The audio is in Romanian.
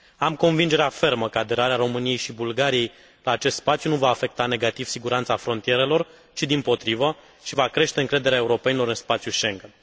Am convingerea fermă că aderarea României și Bulgariei la acest spațiu nu va afecta negativ siguranța frontierelor ci, dimpotrivă, va crește încrederea europenilor în spațiul Schengen.